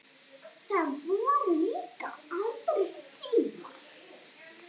Það voru líka aðrir tímar.